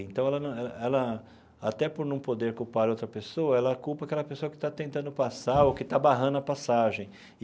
Então, ela ela ela até por não poder culpar outra pessoa, ela culpa aquela pessoa que está tentando passar ou que está barrando a passagem.